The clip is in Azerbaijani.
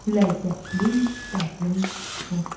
Ləzzətli, dadlı şorba.